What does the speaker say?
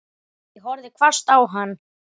Ég horfði hvasst á hann.